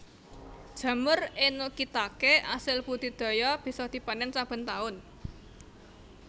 Jamur Enokitake asil budidaya bisa dipanen saben taun